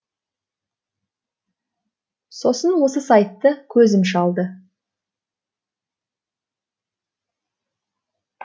сосын осы сайтты көзім шалды